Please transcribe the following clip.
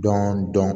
Dɔn dɔn